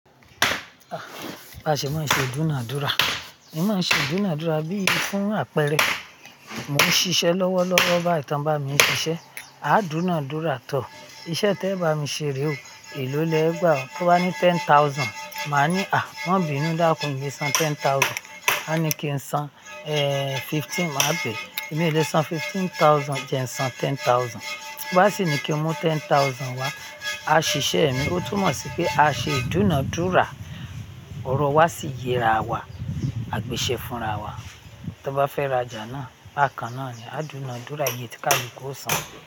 Ah! Baṣe máa ṣe ìdúnàádúrà. Mo máa ṣe ìdúnàádúrà bí i fún àpẹẹrẹ, mò ń ṣiṣẹ́ lọ́wọ́ lọ́wọ́ bá ẹ tan bá mi ṣiṣẹ́, a dúnàádúrà tọ. Iṣẹ́ tẹ bá mi ṣe re o, èló lẹ gbà ọ́? Tó bá ní ten thousand, màá ní "à, wọ́n bínú dákùn, mi ò lè san ten thousand." A ní kí n san, eh, fifteen, mà á pèé, "èmi ò lè san fifteen thousand, jẹ ń san ten thousand." Bí bá ṣe ní kí n mú ten thousand wa, a ṣiṣẹ́ ẹ̀ ni. Ó túmọ̀ sí pé a ṣe ìdúnàádúrà, ọrọ̀ wá sí yẹra wa, àgbèṣẹ́ fúnra wa. Tí wọ́n bá fẹ́ ra ajà náà, á kàn án ni, a dúnàádúrà, ìyé tí kàlu ku ó san.